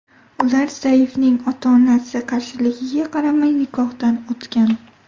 Ular Saifning ota-onasi qarshiligiga qaramay nikohdan o‘tgan.